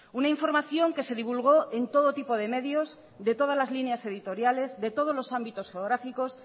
una información que se divulgó en todo tipo de medios de todas las líneas editoriales de todos los ámbitos geográficos